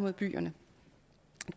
mod byerne